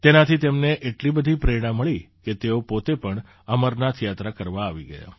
તેનાથી તેમને એટલી બધી પ્રેરણા મળી કે તેઓ પોતે પણ અમરનાથ યાત્રા કરવા આવી ગયા